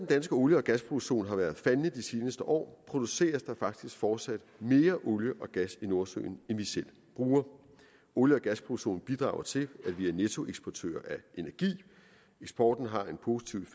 danske olie og gasproduktion har været faldende i de seneste år produceres der faktisk fortsat mere olie og gas i nordsøen end vi selv bruger olie og gasproduktionen bidrager til at vi er nettoeksportør af energi eksporten har en positiv